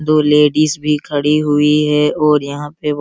दो लेडिस भी खड़ी हुई है और यहां पे वो --